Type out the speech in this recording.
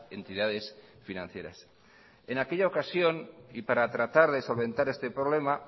entidades financieras en aquella ocasión y para tratar de solventar este problema